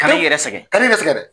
Ka n'i yɛrɛ sɛgɛn, ka n'i yɛrɛ sɛgɛn dɛ.